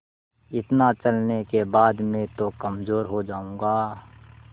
इतना चलने के बाद मैं तो कमज़ोर हो जाऊँगा